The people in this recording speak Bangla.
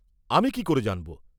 আমি কি করে জানব?